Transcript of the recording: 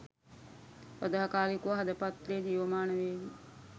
සදාකාලිකව හද පත්ලේ ජීවමාන වේවි